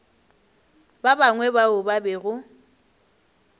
ba bangwe bao ba bego